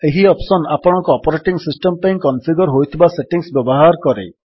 ଏହି ଅପ୍ସନ୍ ଆପଣଙ୍କ operating system ପାଇଁ କନଫିଗର୍ ହୋଇଥିବା ସେଟିଙ୍ଗ୍ସ ବ୍ୟବହାର କରେ